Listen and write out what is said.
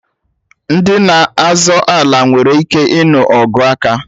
Ndị na-azọ ala nwere ike ịnụ ọgụ aka